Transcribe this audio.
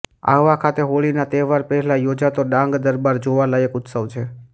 આહવા ખાતે હોળીના તહેવાર પહેલાં યોજાતો ડાંગ દરબાર જોવાલયક ઉત્સવ છે